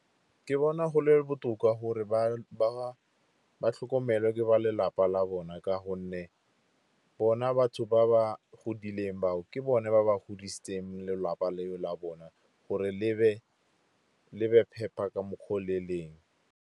Ke bona go le botoka gore ba tlhokomelwa ke ba lelapa la bona. Ka gonne bona batho ba ba godileng ba o, ke bone ba ba godisitseng lelapa le o la bona gore le be phepa ka mokgwa o le leng.